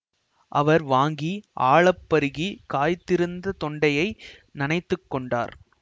அவர் வாங்கி ஆழப் பருகி காய்ந்திருந்த தொண்டையை நனைத்துக் கொண்டார்